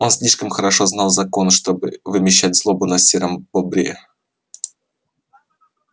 он слишком хорошо знал закон чтобы вымещать злобу на сером бобре